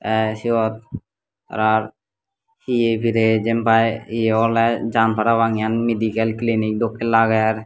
te siot tarar heye pirey jiyenpai ye oley jaan parapang yen medical clinic dokken lager.